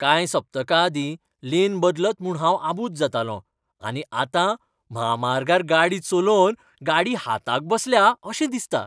कांय सप्तकां आदीं, लेन बदलत म्हूण हांव आबूज जातालों आनी आतां म्हामार्गार गाडी चलोवन गाडी हाताक बसल्या अशें दिसता.